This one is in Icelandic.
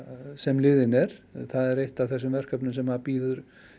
sem liðinn er það er eitt af þessum verkefnum sem bíða